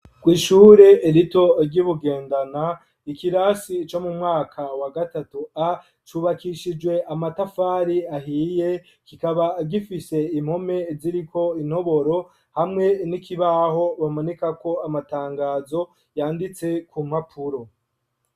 Kw'ishure rito ry'i Bugendana, ikirasi co mu mwaka wa gatatu A, cubakishijwe amatafari ahiye, kikaba gifishe impome ziriko intoboro, hamwe n'ikibaho bamanikako amatangazo yanditse ku mpapuro.